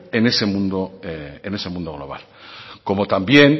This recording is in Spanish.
en ese mundo global como también